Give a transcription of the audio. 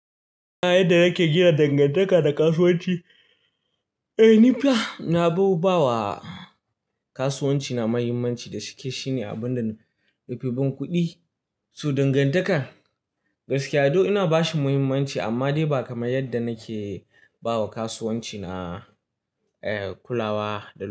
Ina yadda nake gina dangantaka da kasuwanci? Eh ni fa na, ba wa kasuwanci na muhimmanci da cike shine abun da na, neman kuɗi. So dangantakar gaskiya, do ina bashi muhimmanci amma dai ba kamar yadda nake ba wa kasuwanci na, eh kulawa da.